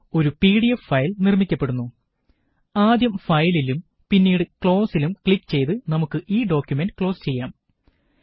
ഒരു PDF file നിര്മ്മിക്കപ്പെടുന്നു ആദ്യം ഫയലിലും പിന്നീട് ക്ലോസിലും ക്ലിക് ചെയ്ത് നമുക്ക് ഈ ഡോക്കുമന്റ് ക്ലോസ് ചെയ്യാം